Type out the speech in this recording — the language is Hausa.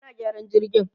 ana gyaran jirgin